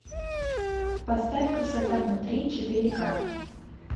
поставь красота внутри четыре ка